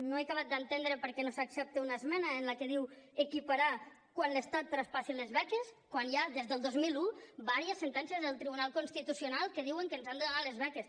no he acabat d’entendre per què no s’accepta una esmena en la que diu equiparar quan l’estat traspassi les beques quan ja hi ha des del dos mil un diverses sentències del tribunal constitucional que diuen que ens han de donar les beques